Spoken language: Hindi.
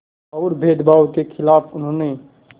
और भेदभाव के ख़िलाफ़ उन्होंने